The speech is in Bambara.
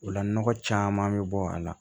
O la nɔgɔ caman bɛ bɔ a la